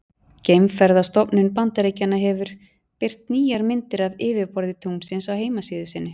Geimferðastofnun Bandaríkjanna hefur birt nýjar myndir af yfirborði tunglsins á heimasíðu sinni.